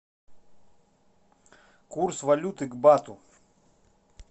курс валюты к бату